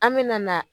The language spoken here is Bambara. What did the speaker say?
An me na